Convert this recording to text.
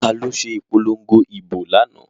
Taló se ìpolongo ìbò lánáà?